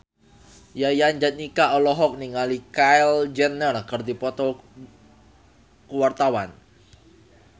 Yayan Jatnika olohok ningali Kylie Jenner keur diwawancara